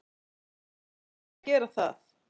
En þeir eru ekki að gera það.